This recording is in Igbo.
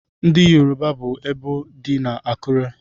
Ndị Yoruba bu ebò dị na Akure.